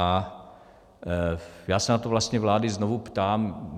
A já se na to vlastně vlády znovu ptám.